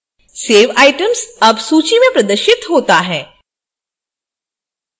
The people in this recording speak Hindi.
सेव items अब सूची में प्रदर्शित होता है